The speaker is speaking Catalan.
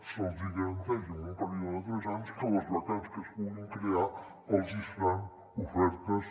se’ls hi garanteix en un període de tres anys que les vacants que es puguin crear els hi seran ofertes